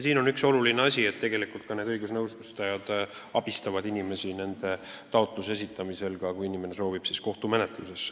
Siin on oluline see, et need õigusnõustajad abistavad inimesi taotluse esitamisel ka siis, kui inimene soovib kohtumenetlust.